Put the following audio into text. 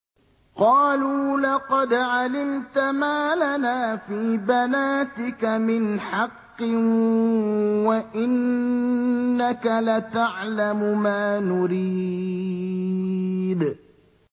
قَالُوا لَقَدْ عَلِمْتَ مَا لَنَا فِي بَنَاتِكَ مِنْ حَقٍّ وَإِنَّكَ لَتَعْلَمُ مَا نُرِيدُ